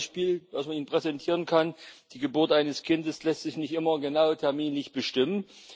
Ein Beispiel, das man Ihnen präsentieren kann Die Geburt eines Kindes lässt sich nicht immer genau terminlich bestimmen.